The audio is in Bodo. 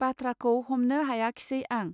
बाथ्राखौ हमनो हायाखिसै आं